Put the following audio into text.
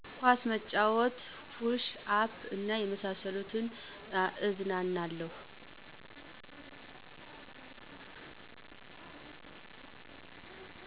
ኳስ መጫወት፣ ፑሽ አፕ እና በመሳሰሉት እዝናናለሁ።